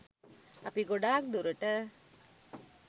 අපි ගොඩක් දුරට